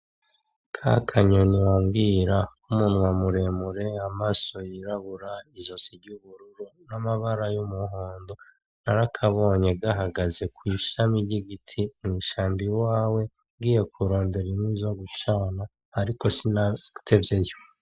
Ka kanyoni wambwira k'umunwa muremure, amaso y'irabura, isozi ry'ubururu n'amabara yo mu muhondo, narakabonye gahagaze kw'ishami ry'igiti kurushamba iwawe ngiye kurondera inkwi zogucana ariko sinatevyeyo.